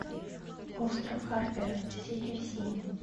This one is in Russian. остров харпера серия семь